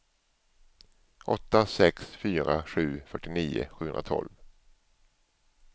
åtta sex fyra sju fyrtionio sjuhundratolv